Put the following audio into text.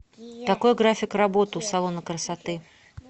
какой график работы у салона красоты